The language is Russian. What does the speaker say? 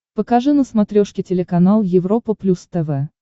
покажи на смотрешке телеканал европа плюс тв